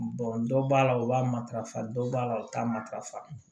dɔ b'a la u b'a matarafa dɔ b'a la o t'a matarafa